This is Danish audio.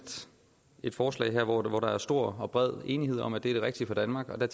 et forslag her hvor der er stor og bred enighed om at det er det rigtige for danmark og der